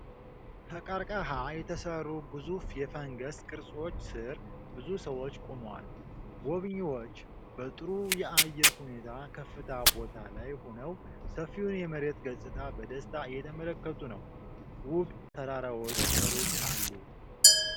ከቀርከሃ በተሠሩ ግዙፍ የፈንገስ ቅርጾች ሥር ብዙ ሰዎች ቆመዋል። ጎብኚዎች በጥሩ የአየር ሁኔታ ከፍታ ቦታ ላይ ሆነው ሰፊውን የመሬት ገጽታ በደስታ እየተመለከቱ ነው። ውብ ተራራዎች ከሩቅ አሉ።